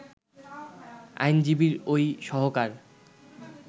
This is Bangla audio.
আইনজীবীর ওই সহকার